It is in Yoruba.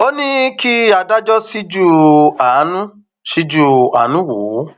ó ní kí adájọ ṣíjú àánú ṣíjú àánú wò ó